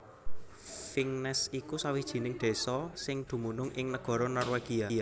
Vingnes iku sawijining désa sing dumunung ing negara Norwegia